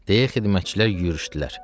deyə xidmətçilər yüyürüçdülər.